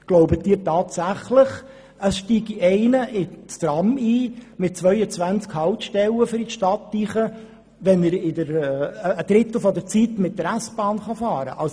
Glauben Sie tatsächlich, jemand steige in ein Tram mit 22 Haltstellen ein, um in die Stadt zu gelangen, wenn er in einem Drittel der Zeit mit der S-Bahn fahren kann?